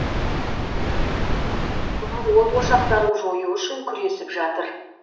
өрт сөндірушілер қалған от ошақтарын жою үшін күресіп жатыр